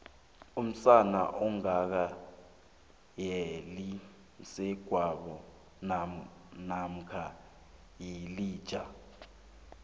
umsana ongaka weli msegwabo mamkha yilija